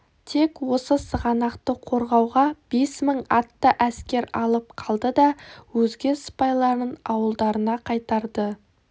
тек осы сығанақты қорғауға бес мың атты әскер алып қалды да өзге сыпайларын ауылдарына қайтарды